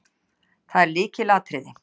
Það er lykilatriði.